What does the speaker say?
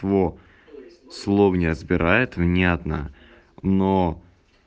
слов не разбирает внятно но